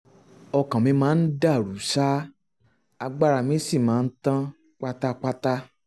ọkàn mi máa ń dàrú ṣáá agbára mi sì máa ń tán pátápátá